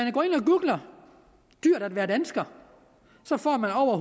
og googler dyrt at være dansker så får man over